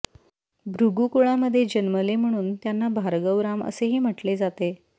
भृगू कुळामध्ये जन्मले म्हणून त्यांना भार्गवराम असेही म्हटले जाते